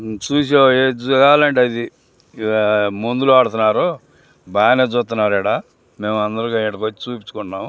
మందులు ఆడుతున్నారు బానే చూతున్నారు ఇక్కడ మేము అందరూ ఇక్కడికొచ్చి చూపించుకుంటున్నాం.